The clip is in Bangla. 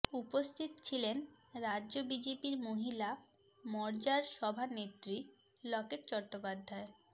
উপস্থিত ছিলেন রাজ্য বিজেপির মহিলা মোর্চার সভানেত্রী লকেট চট্টোপাধ্যায়